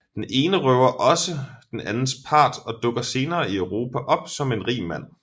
Den Ene røver ogsaa den Andens Part og dukker senere i Europa op som en rig Mand